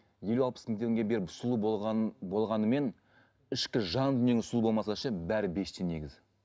елу алпыс мың теңге беріп сұлу болған болғанымен ішкі жан дүниеңіз сұлу болмаса ше бәрі бес тиын негізі